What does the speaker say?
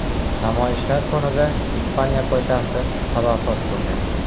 Namoyishlar fonida Ispaniya poytaxti talafot ko‘rgan.